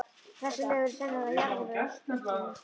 Þessi lög eru sennilega jarðvegur að uppruna.